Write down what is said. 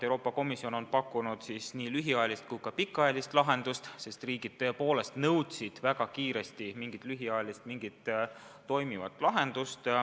Euroopa Komisjon on pakkunud nii lühiajalist kui ka pikaajalist lahendust, sest riigid tõepoolest nõudsid väga kiiresti mingit lühiajalist, mingit toimivat lahendust.